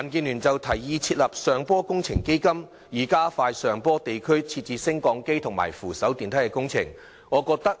民建聯提議設立"上坡工程基金"，以加快在上坡地區設置升降機及扶手電梯工程。